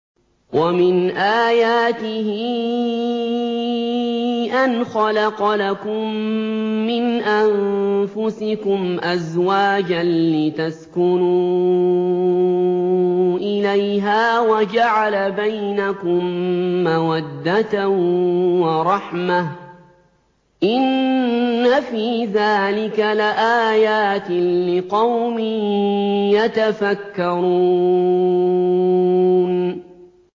وَمِنْ آيَاتِهِ أَنْ خَلَقَ لَكُم مِّنْ أَنفُسِكُمْ أَزْوَاجًا لِّتَسْكُنُوا إِلَيْهَا وَجَعَلَ بَيْنَكُم مَّوَدَّةً وَرَحْمَةً ۚ إِنَّ فِي ذَٰلِكَ لَآيَاتٍ لِّقَوْمٍ يَتَفَكَّرُونَ